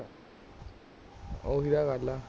ਓਹੀ ਤਾ ਗੱਲ ਹੈ